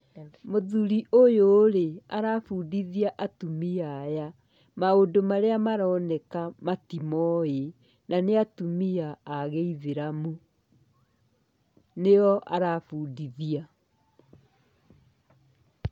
Mũthuri ũyũ rĩ, arabundithia atumia aya maũndũ marĩa maroneka matimoĩ na nĩ atumia agĩithĩramu. Nĩo arabundithia.